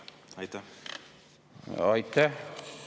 Aitäh!